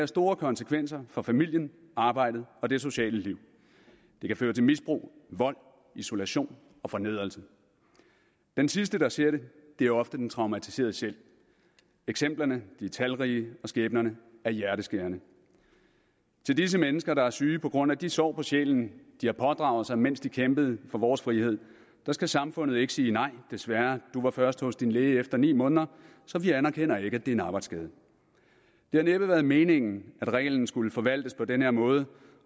store konsekvenser for familien arbejdet og det sociale liv det kan føre til misbrug vold isolation og fornedrelse den sidste der ser det er ofte den traumatiserede selv eksemplerne er talrige og skæbnerne er hjerteskærende til disse mennesker der er syge på grund af de sår på sjælen de har pådraget sig mens de kæmpede for vores frihed skal samfundet ikke sige nej desværre du var først hos din læge efter ni måneder så vi anerkender ikke at det er en arbejdsskade det har næppe været meningen at reglen skulle forvaltes på den her måde